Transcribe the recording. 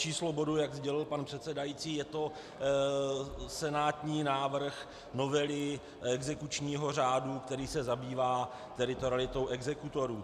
Číslo bodu, jak sdělil pan předsedající, je to senátní návrh novely exekučního řádu, který se zabývá teritorialitou exekutorů.